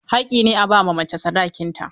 Haƙƙi ne a ba macen sadakin ta.